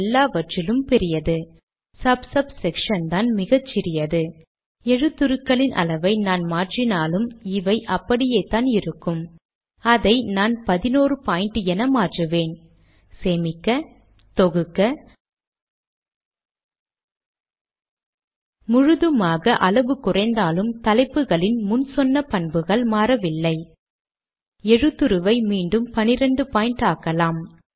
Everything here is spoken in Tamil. சேவ் பிடிஎஃப் லேடக் ஐ கொண்டு கம்பைல் செய்ய- அவ்விரண்டு வரிகளும் இணைந்து ஒரே வரியாக மாறுவதை காணலாம்